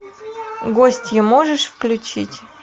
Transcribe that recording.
гостья можешь включить